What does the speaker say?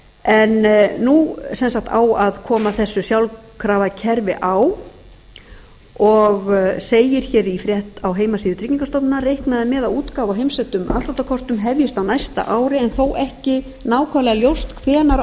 en nú sem sagt á að koma þessu sjálfkrafa kerfi á og segir í frétt á heimasíðu tryggingastofnunar reiknað er með að útgáfa á heimsendum afsláttarkortum hefjist á næsta ári en þó ekki nákvæmlega ljóst hvenær á